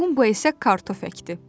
Bumbo isə kartof əkdi.